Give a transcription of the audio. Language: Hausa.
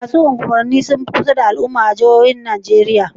Masu unguwanni sun fi kusa da al'umma a jihojin Arewacin Najeriya.